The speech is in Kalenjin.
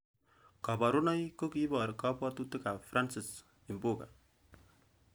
Koborunoik ko kiibor kabwotutikab Francis imbuga.